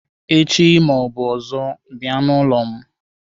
Echi ma ọ bụ ọzọ bịa n'ụlọ m